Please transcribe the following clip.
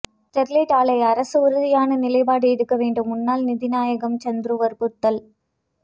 Sterlite ஆலை அரசு உறுதியான நிலைப்பாடு எடுக்கவேண்டும் முன்னாள் நீதிநாயகம் சந்துரு வற்புறுத்தல்